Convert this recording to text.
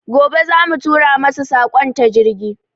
Gobe za mu tura masu saƙon su ta jirgi